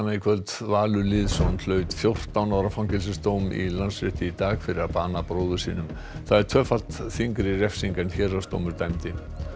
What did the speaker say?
kvöld Valur Lýðsson hlaut fjórtán ára fangelsisdóm í Landsrétti í dag fyrir að bana bróður sínum það er tvöfalt þyngri refsing en héraðsdómur dæmdi